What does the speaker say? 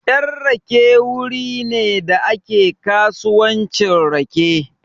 Yan rake wuri ne da ake kasuwancin rake.